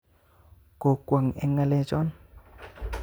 Kokwo'ng eng ngalechon